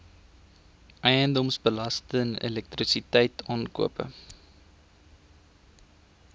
eiendomsbelasting elektrisiteit aankope